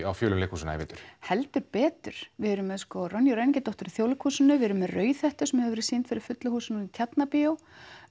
á fjölum leikhúsanna í vetur heldur betur við erum með ræningjadóttur í Þjóðleikhúsinu við erum með Rauðhettu sem hefur verið sýnd fyrir fullu húsi í Tjarnarbíói